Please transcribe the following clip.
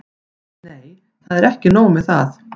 Nei, það er ekki nóg með það.